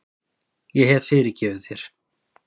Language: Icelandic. Ég hef fyrirgefið þér.